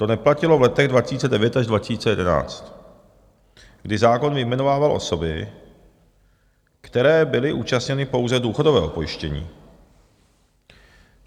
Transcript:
To neplatilo v letech 2009 až 2011, kdy zákon vyjmenovával osoby, které byly účastněny pouze důchodového pojištění.